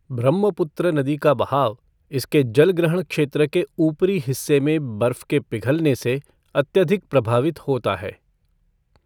ब्रह्मपुत्र नदी का बहाव इसके जलग्रहण क्षेत्र के ऊपरी हिस्से में बर्फ के पिघलने से अत्यधिक प्रभावित होता है।